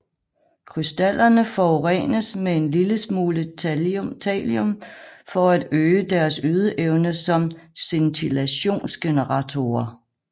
Krystallerne forurenes med en lille smule thallium for at øge deres ydeevne som scintillationsgeneratorer